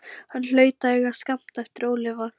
Hann hlaut að eiga skammt eftir ólifað.